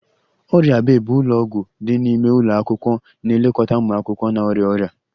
Ọrịa bay bụ ụlọ ọgwụ dị n'ime ụlọ akwụkwọ na-elekọta ụmụ akwụkwọ na-arịa ọrịa